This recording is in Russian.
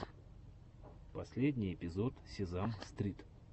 последний эпизод сезам стрит